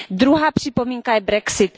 Druhá připomínka je brexit.